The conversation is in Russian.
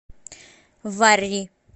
варри